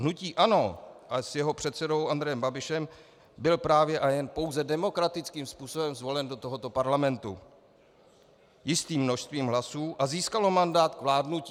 Hnutí ANO a s jeho předsedou Andrejem Babišem byl právě a jen pouze demokratickým způsobem zvolen do tohoto parlamentu jistým množstvím hlasů a získalo mandát k vládnutí.